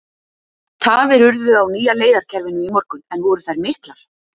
Tafir urðu á nýja leiðakerfinu í morgun en voru þær miklar?